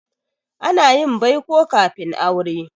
Ana yin baiko kafin aure.